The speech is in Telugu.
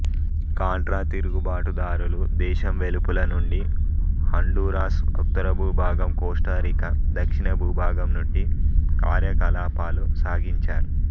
కాంట్రా తిరుగుబాటుదారులు దేశం వెలుపల నుండి హండూరాస్ ఉత్తరభూభాగం కోస్టారీకా దక్షిణభూభాగం నుండి కార్యకలాపాలు సాగించారు